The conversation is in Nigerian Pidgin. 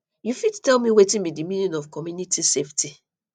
you fit tell me wetin be di meaning of community safety